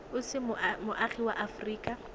o se moagi wa aforika